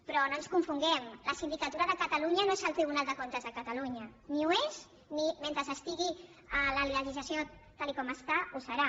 però no ens confonguem la sindicatura de catalunya no és el tribunal de comptes de catalunya ni ho és ni mentre estigui la legislació tal com està ho serà